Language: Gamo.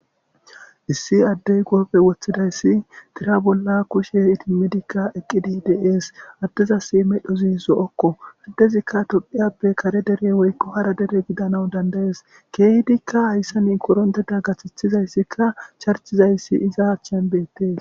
issi addey goofe woththidayssi dira bolla kushe idimmidikka eqqidi dees addezasi medhozi zo7okko addezikka topphiyappe kare dere woykko hara dere gidanau dandayes keeydikka hayssanin koronteda gaththithizayssikka charchizayssi iza chenbettes